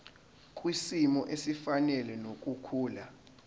kwisimo esifanele nokukhula